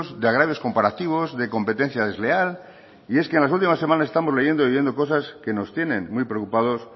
de agravios comparativos de competencia desleal y es que en las últimas semanas estamos leyendo y oyendo cosas que nos tienen muy preocupados